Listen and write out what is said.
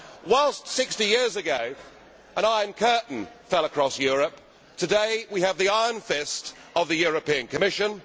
Whilst, 60 years ago, an Iron Curtain fell across Europe, today we have the iron fist of the European Commission.